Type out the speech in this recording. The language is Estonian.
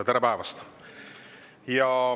Tere päevast!